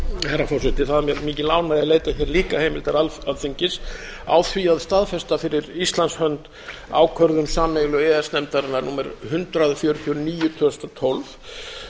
herra forseti það er mér mikil ánægja að leita hér líka heimildar alþingis á því að staðfesta fyrir íslands hönd ákvörðun sameiginlegu e e s nefndarinnar númer hundrað fjörutíu og níu tvö þúsund og tólf um